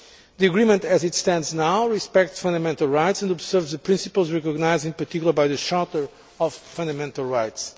The agreement, as it stands now, respects fundamental rights and observes the principles recognised in particular by the Charter of Fundamental Rights.